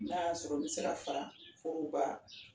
N'a y'a sɔrɔ n bɛ se ka fara foroba